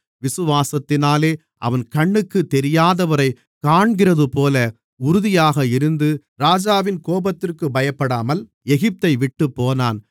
விசுவாசத்தினாலே அவன் கண்ணுக்குத் தெரியாதவரைக் காண்கிறதுபோல உறுதியாக இருந்து ராஜாவின் கோபத்திற்குப் பயப்படாமல் எகிப்தைவிட்டுப் போனான்